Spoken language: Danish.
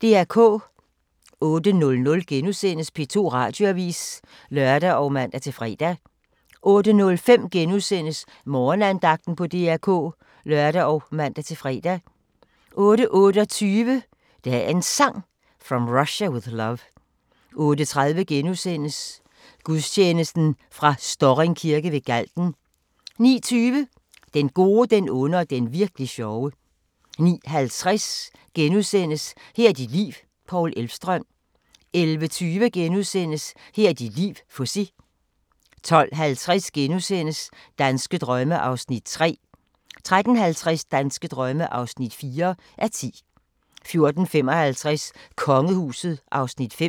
08:00: P2 Radioavis *(lør og man-fre) 08:05: Morgenandagten på DR K *(lør og man-fre) 08:28: Dagens Sang: From Russia With Love 08:30: Gudstjeneste fra Storring Kirke ved Galten * 09:20: Den gode, den onde og den virk'li sjove 09:50: Her er dit liv – Paul Elvstrøm * 11:20: Her er dit liv - Fuzzy * 12:50: Danske drømme (3:10)* 13:50: Danske drømme (4:10)* 14:55: Kongehuset (Afs. 5)